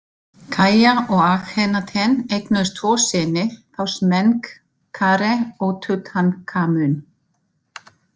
Kiya og Akhenaten eignuðust tvo syni, þá Smenkhkare og Tutankhamun.